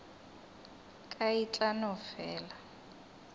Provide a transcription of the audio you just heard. ka e tla no fela